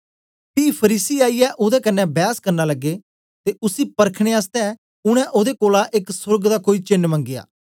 पी फरीसी आईयै ओदे कन्ने बैस करन लगे ते उसी परखने आसतै उनै ओदे कोलां एक सोर्ग दा कोई चेन्न मंगया